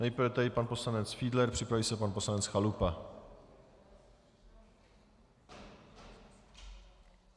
Nejprve tedy pan poslanec Fiedler, připraví se pan poslanec Chalupa.